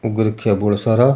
उग रखे बोला सारा।